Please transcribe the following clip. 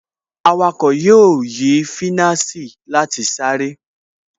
Awakọ̀ yóò yí finasi láti sáré